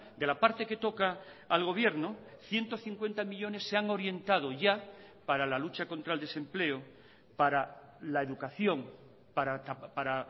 de la parte que toca al gobierno ciento cincuenta millónes se han orientado ya para la lucha contra el desempleo para la educación para